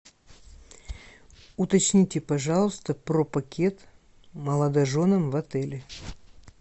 уточните пожалуйста про пакет молодоженам в отеле